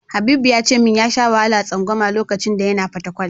Habibu ya ce min ya sha wahalar tsangwama lokacin da yana Fatakwal.